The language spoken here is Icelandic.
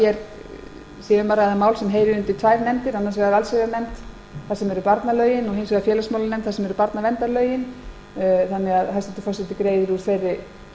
að ræða mál sem heyrir undir tvær nefndir annars vegar allsherjarnefnd þar sem barnalögin eru og hins vegar félagsmálanefnd þar sem barnaverndarlögin eru þannig að hæstvirtur forseti greiðir úr þeirri